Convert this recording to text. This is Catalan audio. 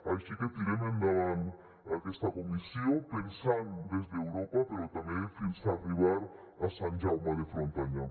així que tirem endavant aquesta comissió pensant des d’europa però també fins a arribar a sant jaume de frontanyà